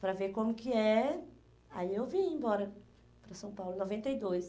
Para ver como que é, aí eu vim embora para São Paulo em noventa e dois.